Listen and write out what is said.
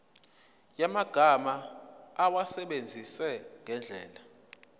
yamagama awasebenzise ngendlela